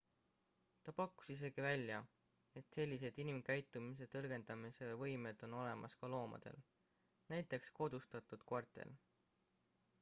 ta pakkus isegi välja et sellised inimkäitumise tõlgendamise võimed on olemas ka loomadel näiteks kodustatud koertel